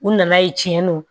U nana ye tiɲɛ don